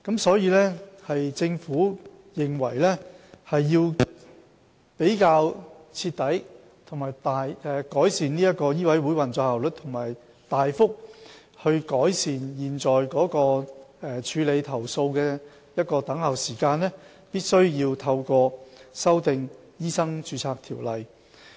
所以，政府認為若要徹底改善醫委會的運作效率，並大幅改善現時處理投訴的等候時間，便必須修訂《醫生註冊條例》。